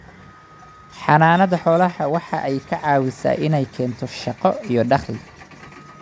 Xanaanada xoolaha waxa ay ka caawisaa in ay keento shaqo iyo dakhli.